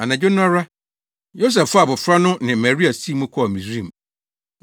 Anadwo no ara Yosef faa abofra no ne Maria sii mu kɔɔ Misraim,